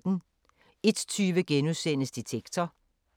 01:20: Detektor *